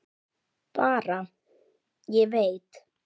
Bara: Ég veit.